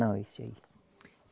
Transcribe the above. Não, esse aí.